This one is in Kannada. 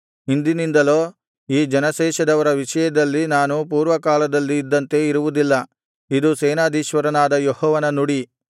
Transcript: ಇಂದಿನಿಂದಲೋ ಈ ಜನಶೇಷದವರ ವಿಷಯದಲ್ಲಿ ನಾನು ಪೂರ್ವಕಾಲದಲ್ಲಿ ಇದ್ದಂತೆ ಇರುವುದಿಲ್ಲ ಇದು ಸೇನಾಧೀಶ್ವರನಾದ ಯೆಹೋವನ ನುಡಿ